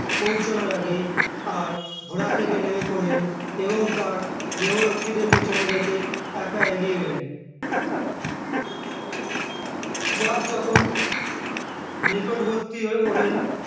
পৌঁছানোর আগে আর ঘোড়ার থেকে নেমে পড়লেন এবং তার দেহরক্ষীদের পিছনে রেখে একা এগিয়ে গেলেন যার যখন নিকটবর্তী হয়েও হলেন